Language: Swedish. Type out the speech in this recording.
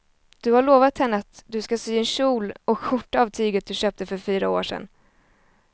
Du har lovat henne att du ska sy en kjol och skjorta av tyget du köpte för fyra år sedan.